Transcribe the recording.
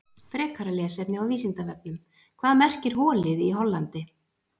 Frekara lesefni á Vísindavefnum: Hvað merkir holið í Hollandi?